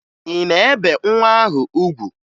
Ị na-ebe nwa ahụ ugwu?